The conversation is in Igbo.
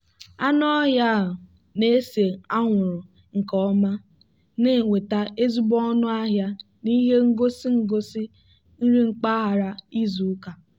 anụ ọhịa a na-ese anwụrụ nke ọma na-enweta ezigbo ọnụ ahịa n'ihe ngosi ngosi nri mpaghara izu ụka.